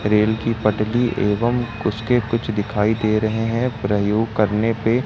rail की पटरी एवं उसके कुछ दिखाई दे रहे हैं प्रयोग करने पे--